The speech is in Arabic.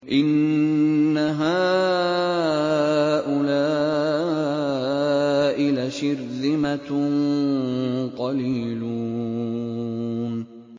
إِنَّ هَٰؤُلَاءِ لَشِرْذِمَةٌ قَلِيلُونَ